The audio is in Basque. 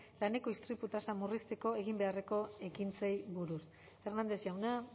laneko istripu tasa murrizteko egin beharreko ekintzei buruz hernández jauna